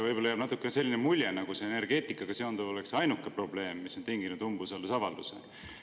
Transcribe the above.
Võib-olla jääb natuke selline mulje, nagu energeetikaga seonduv oleks ainuke probleem, mis on tinginud umbusaldusavalduse.